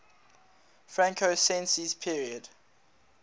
franco sensi's period